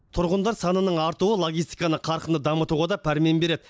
тұрғындар санының артуы логистиканы қарқынды дамытуға да пәрмен береді